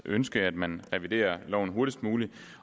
ønske at man reviderer loven hurtigst muligt